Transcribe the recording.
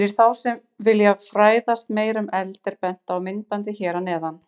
Fyrir þá sem vilja fræðast meira um eld er bent á myndbandið hér að neðan.